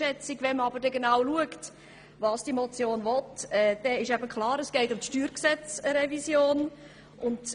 Schaut man aber genau hin, was die Motion will, dann wird klar, dass es um die Steuergesetzrevision geht.